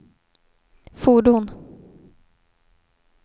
fordon